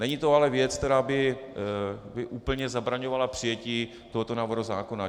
Není to ale věc, která by úplně zabraňovala přijetí tohoto návrhu zákona.